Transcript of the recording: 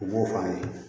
U b'o fɔ an ye